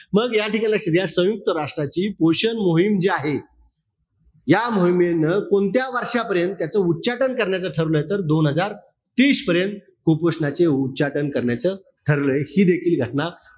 मग या ठिकाणी या संयुंक्त राष्ट्राची पोषण मोहीम जी आहे, या मोहिमेन कोणत्या वर्षांपर्यंत त्याच उच्चाटन करण्याचं ठरवलंय? तर, दोन हजार तीस पर्यंत, कुपोषणाचे उच्चाटन करण्याचं ठरलय. हि देखील घटना,